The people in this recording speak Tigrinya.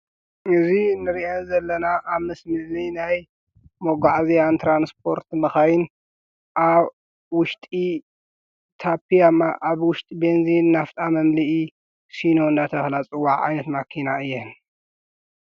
እዚ እንርእዮ ዘለና ኣብ ምስሊ እዚ ናይ መጓዓዝያን ትራንስፖርትን መካይን ኣብ ዉሽጢ ታብያ ኣብ ዉሽጢ ቤንዚን ናፍጣ መምልኢ ሲኖ እናተብሃላ ዝፅዉዓ ዓይነት መኪና እየን ።